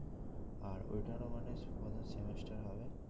আর ওইটারও মানে প্রথম semester হবে